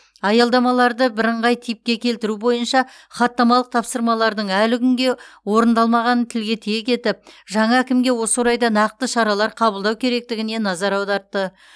аялдамаларды бірыңғай типке келтіру бойынша хаттамалық тапсырмалардың әлі күнге орындалмағанын тілге тиек етіп жаңа әкімге осы орайда нақты шаралар қабылдау керектігіне назар аудартты